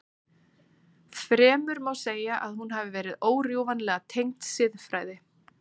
Fremur má segja að hún hafi verið órjúfanlega tengd siðfræði.